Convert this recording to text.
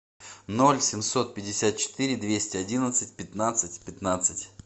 ноль семьсот пятьдесят четыре двести одиннадцать пятнадцать пятнадцать